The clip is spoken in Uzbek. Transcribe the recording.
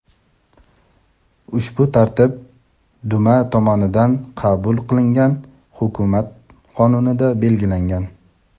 Ushbu tartib Duma tomonidan qabul qilingan hukumat qonunida belgilangan.